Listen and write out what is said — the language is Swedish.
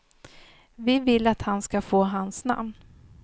Vi vill att han ska få hans namn.